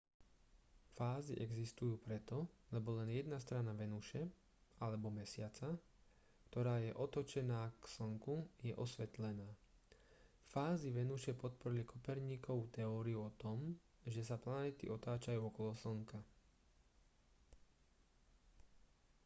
fázy existujú preto lebo len jedna strana venuše alebo mesiaca ktorá je otočená k slnku je osvetlená. fázy venuše podporili kopernikovu teóriu o tom že sa planéty otáčajú okolo slnka